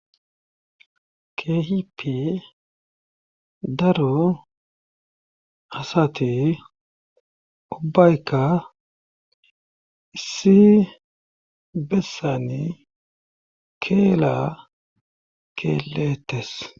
Keehippe daro asati ubbaykka issi bessani keela keelettes.